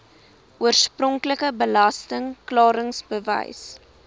oorspronklike belasting klaringsbewys